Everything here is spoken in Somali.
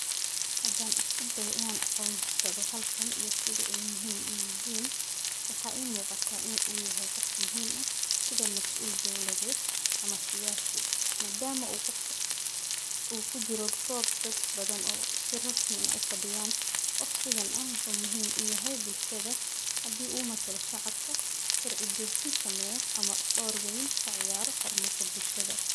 Hadan isku deyo inan aqonsado halkan iyo sithi ay muhim u yihin wxa I muqata inu yahay qof muhim ah sitha masul dowladed ama siyasi madama u qofka u kujkro gob dadbadan o si rasmi ah u fadiyan qof sithan ah o muhim u yahay bulshada, hadi u matalo shacabka sharci dajin sameyo ama dor wen kaciyaro hormarka bulshada.